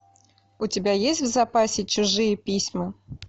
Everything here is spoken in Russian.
у тебя есть в запасе чужие письма